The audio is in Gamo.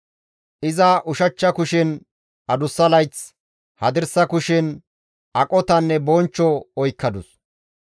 Iza ushachcha kushen adussa layth, hadirsa kushen aqotanne bonchcho oykkadus.